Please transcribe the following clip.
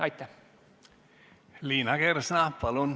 Liina Kersna, palun!